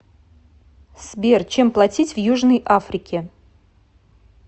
сбер чем платить в южной африке